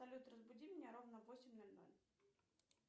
салют разбуди меня ровно в восемь ноль ноль